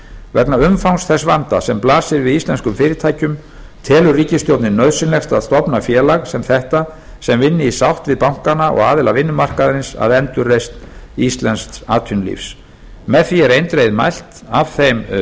vegna umfangs þess vanda sem blasir við íslenskum fyrirtækjum telur ríkisstjórnin nauðsynlegt að stofna félag sem þetta sem vinni í sátt við bankana og aðila vinnumarkaðarins að endurreisn íslensks atvinnulífs með því er eindregið mælt af þeim